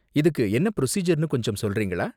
இதுக்கு என்ன ப்ரொசீஜர்னு கொஞ்சம் சொல்றீங்களா?